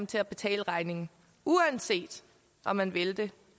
til at betale regningen uanset om man vil det